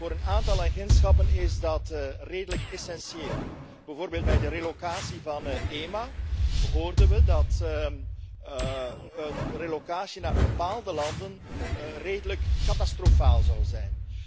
Voor een aantal agentschappen is dat redelijk essentieel, bijvoorbeeld bij de relocatie van EMA hoorden we dat een relocatie naar bepaalde landen redelijk catastrofaal zou zijn.